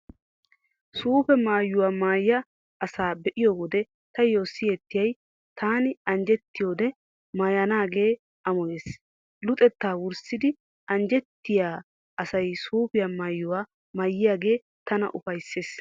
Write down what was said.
Suufe maayuwaa maayiyaa asa be'iyo wode taayyo siyettiyay taani anjjettiyodde maayanaagee amoyees. Luxetta wurssidi anjjettiyaa asay suufe maayuwaa maayiyaagee tana ufayssees.